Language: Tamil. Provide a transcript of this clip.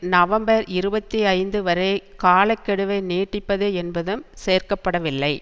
நவம்பர் இருபத்தி ஐந்து வரை காலக்கெடுவை நீட்டிப்பது என்பதும் சேர்க்க படவில்லை